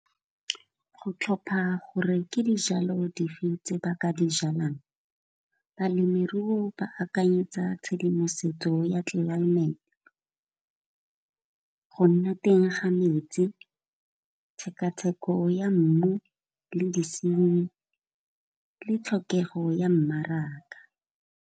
Go tlhopha gore ke dijalo dife tse ba ka di jalang balemiruo ba akanyetsa tshedimosetso ya tlelaemete. Go nna teng ga metsi, tshekatsheko ya mmu le disenyi, le tlhokego ya mmaraka.